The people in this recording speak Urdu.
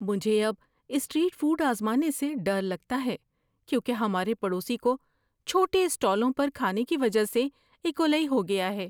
مجھے اب اسٹریٹ فوڈ آزمانے سے ڈر لگتا ہے کیونکہ ہمارے پڑوسی کو چھوٹے اسٹالوں پر کھانے کی وجہ سے ایکولی ہو گیا ہے۔